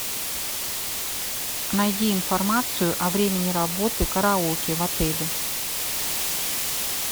найди информацию о времени работы караоке в отеле